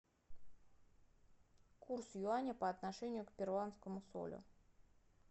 курс юаня по отношению к перуанскому солю